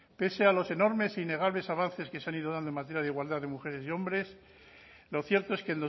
pese a los enormes e innegables avances que se han ido dando en materia de igualdad de mujeres y hombres lo cierto es que